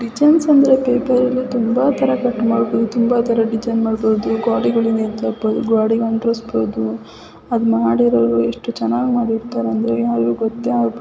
Design ಅಂದ್ರೆ ಪಪೆರ್ನ ಲ್ಲಿ ತುಂಬಾ ಚೆನ್ನಾಗಿ ಡಿಸೈನ್ ಮಾಡಬಹುದು ಗೋಡೆಗಳ ಮೇಲೆ ನೆಟ್ ಹಾಕ್ಬಹುದು. ಗೋಡೆಗೆ ಅಂಟಿಸಬಹುದು ಮಾಡಿರೋರು ಎಷ್ಟು ಚೆನ್ನಾಗಿ ಮಾಡಿರುತ್ತಾರೆ ಅಂದರೆ ಗೊತ್ತೇ ಆಗೋದಿಲ್ಲ.